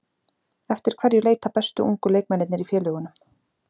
Eftir hverju leita bestu ungu leikmennirnir í félögunum?